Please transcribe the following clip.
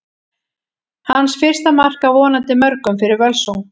Hans fyrsta mark, af vonandi mörgum, fyrir Völsung!